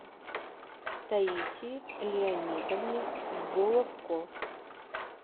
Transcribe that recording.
таисии леонидовне головко